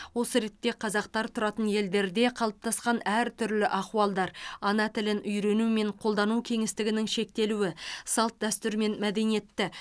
осы ретте қазақтар тұратын елдерде қалыптасқан әртүрлі ахуалдар ана тілін үйрену мен қолдану кеңістігінің шектелуі салт дәстүр мен мәдениетті